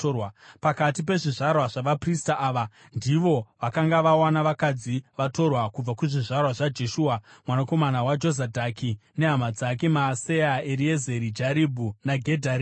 Pakati pezvizvarwa zvavaprista, ava ndivo vakanga vawana vakadzi vatorwa: Kubva kuzvizvarwa zvaJeshua mwanakomana waJozadhaki nehama dzake: Maaseya, Eriezeri, Jaribhu naGedharia.